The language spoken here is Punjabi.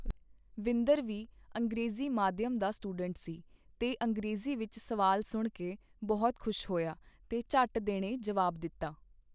ਵਿੰਦਰ ਵੀ ਅੰਗਰੇਜੀ ਮਾਧਿਅਮ ਦਾ ਸਟੂਡੈਂਟ ਸੀ ਤੇ ਅੰਗਰੇਜੀ ਵਿੱਚ ਸਵਾਲ ਸੁਣਕੇ ਬਹੁਤ ਖੁਸ਼ ਹੋਇਆ ਤੇ ਝੱਟ ਦੇਣੇ ਜਵਾਬ ਦਿੱਤਾ .